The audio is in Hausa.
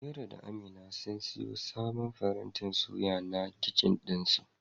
Amira da amina sun siyo sabon farantin suya na kicin ɗinsu.